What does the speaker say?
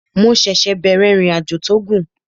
Mo ṣẹ̀ṣẹ̀ bẹ̀rẹ̀ ìrìnàjò tó gùn